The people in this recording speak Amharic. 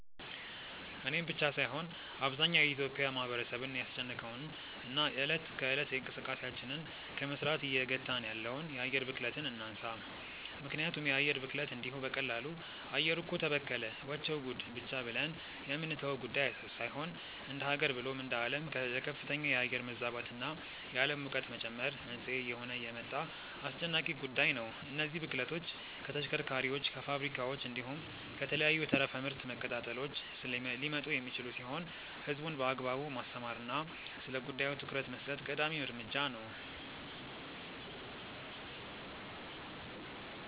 እኔን ብቻ ሳይሆን አብዛኛው የኢትዮጲያ ማህበረሰብን ያስጨነቀውን እና እለት ከእለት እንቅስቃሴያችንን ከመስራት እየገታን ያለውን የአየር ብክለትን እናንሳ። ምክንያቱም የአየር ብክለት እንዲሁ በቀላሉ “አየሩ እኮ ተበከለ… ወቸው ጉድ” ብቻ ብለን የምንተወው ጉዳይ ሳይሆን እንደሃገር ብሎም እንደአለም ለከፍተኛ የአየር መዛባት እና የአለም ሙቀት መጨመር መንስኤ እየሆነ የመጣ አስጨናቂ ጉዳይ ነው። እነዚህ ብክለቶች ከተሽከርካሪዎች፣ ከፋብሪካዎች፣ እንዲሁም ከተለያዩ ተረፈ ምርት መቀጣጠሎች ሊመጡ የሚችሉ ሲሆን ህዝቡን በአግባቡ ማስተማር እና ስለጉዳዩ ትኩረት መስጠት ቀዳሚ እርምጃ ነው።